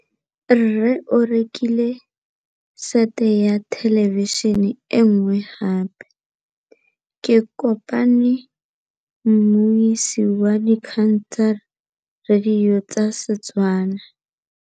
Rre o rekile sete ya thêlêbišênê e nngwe gape. Ke kopane mmuisi w dikgang tsa radio tsa Setswana.